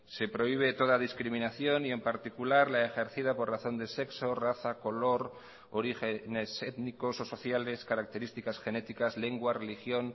se prohíbe toda discriminación y en particular la ejercida por razón de sexo raza color orígenes étnicos o sociales características genéticas lengua religión